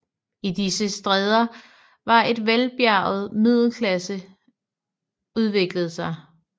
I disse stæder har en velbjerget middelklasse udviklet sig